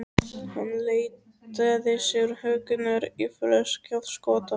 Hann leitaði sér huggunar í flösku af skota.